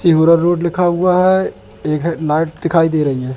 Tehura road लिखा हुआ है। एक है लाइट दिखाई दे रही हैं।